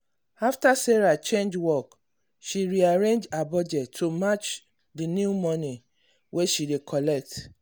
after sarah change work she re-arrange her budget to match the new money wey she dey collect.